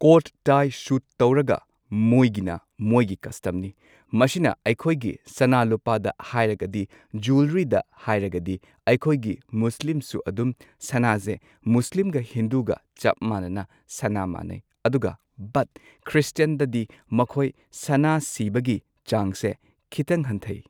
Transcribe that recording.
code tie suit ꯇꯧꯔꯒ ꯃꯣꯏꯒꯤꯅ ꯃꯣꯏꯒꯤ ꯀꯁꯇꯝꯅꯤ ꯃꯁꯤꯅ ꯑꯩꯈꯣꯢꯒꯤ ꯁꯅꯥ ꯂꯨꯄꯥꯗ ꯍꯥꯏꯔꯒꯗꯤ ꯖ꯭ꯋꯦꯂꯔꯤꯗ ꯍꯥꯏꯔꯒꯗꯤ ꯑꯩꯈꯣꯢꯒꯤ ꯃꯨꯁꯂꯤꯝꯁꯨ ꯑꯗꯨꯝ ꯁꯅꯥꯖꯦ ꯃꯨꯁꯂꯤꯝꯒ ꯍꯤꯟꯗꯨꯒ ꯆꯞ ꯃꯥꯟꯅꯅ ꯁꯅꯥ ꯃꯥꯟꯅꯩ ꯑꯗꯨꯒ ꯕꯠ ꯈ꯭ꯔꯤꯁꯇꯤꯌꯟꯗꯗꯤ ꯃꯈꯣꯢ ꯁꯅꯥ ꯁꯤꯕꯒꯤ ꯆꯥꯡꯁꯦ ꯈꯤꯇꯪ ꯍꯟꯊꯩ